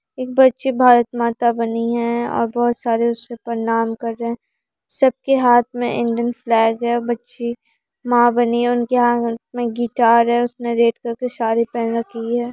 एक बच्ची भारत माता बनी है और बहुत सारे उसे प्रणाम कर रहे हैं सब के हाथ में इंडियन फ्लैग है बच्ची माँ बनी है उनके हाथ में गिटार है उसने रेड कलर की साड़ी पहन रखी है|